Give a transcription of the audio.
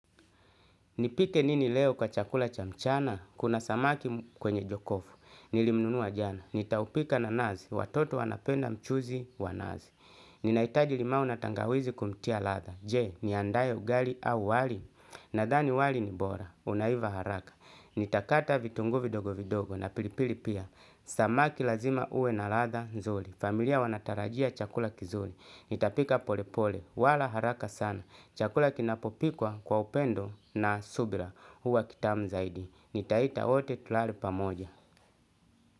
Nipike nini leo kwa chakula cha mchana? Kuna samaki kwenye jokofu. Nilimnunua jana. Nitaupika na nazi. Watoto wanapenda mchuzi wa nazi. Ninaitaji limau na tangawizi kumtia latha. Je, niandae ugali au wali? Nadhani wali ni bora. Unaiva haraka. Nitakata vitunguu vidogo vidogo na pilipili pia. Samaki lazima ue na latha nzuli. Familia wanatarajia chakula kizuli. Nitapika pole pole, wala haraka sana. Chakula kinapopikwa kwa upendo na subira huwa kitamu zaidi. Nitaita wote tulare pamoja.